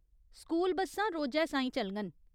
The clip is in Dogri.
स्कूल बस्सां रोजै साहीं चलङन।